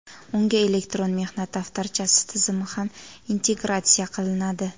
Unga elektron mehnat daftarchasi tizimi ham integratsiya qilinadi.